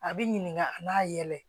A bi ɲininka a b'a yɛlɛ